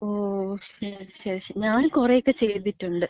ഓ. ശരി ശരി ശരി. ഞാന് കൊറേക്ക ചെയ്തിട്ടൊണ്ട്.